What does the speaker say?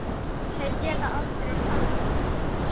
Þeir geta aldrei sannað það!